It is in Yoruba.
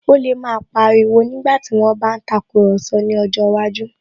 Ó lè máa pa ariwo nígbàtí wón bá ń tàkurọ̀sọ ní ọjọ́ iwájú